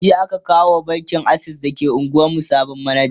jiya aka kawo wa bankin akses da ke unguwan mu sabon manaja